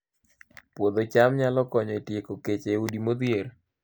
Puodho cham nyalo konyo e tieko kech e udi modhier